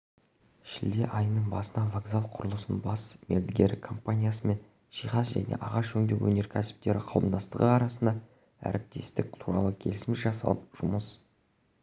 шілде айының басында вокзал құрылысының бас мердігері компаниясы мен жиһаз және ағаш өңдеу өнеркәсіптері қауымдастығы арасында әріптестік туралы келісім жасалып жұмыс